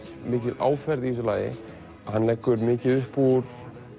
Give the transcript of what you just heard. mikil áferð í þessu lagi hann leggur mikið upp úr